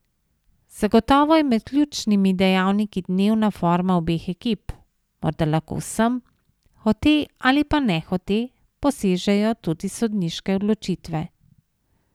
Zagotovo je med ključnimi dejavniki dnevna forma obeh ekip, morda lahko vsem, hote ali pa nehote, posežejo tudi sodniške odločitve.